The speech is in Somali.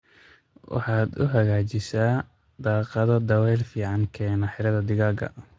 Waxaad u hagajisaa daaqadho daweel fican keena xiradhaa digaaga.